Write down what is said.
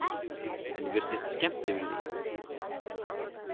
Henni virtist skemmt yfir því.